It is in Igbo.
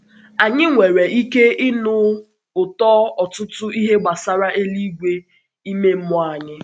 Anyị um nwere um ike ịnụ ụtọ ọtụtụ ihe gbasara eluigwe um ime mmụọ anyị.